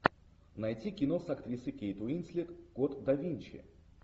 найти кино с актрисой кейт уинслет код да винчи